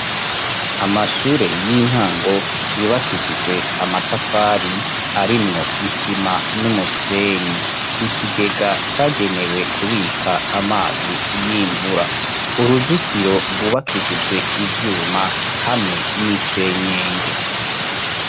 Amashure y'intango yubakishijwe amatafari arimwo isima n'umusenyi ikigega cagenewe kubika amazi y'imvura uruzitiro rwubakishijwe ivyuma hamwe n'isenyenge.